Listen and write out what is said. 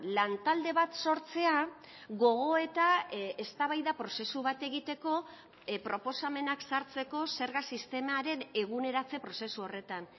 lantalde bat sortzea gogoeta eztabaida prozesu bat egiteko proposamenak sartzeko zerga sistemaren eguneratze prozesu horretan